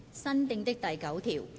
新訂的第9條。